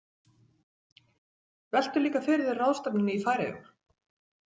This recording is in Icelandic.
Veltu líka fyrir þér ráðstefnunni í Færeyjum.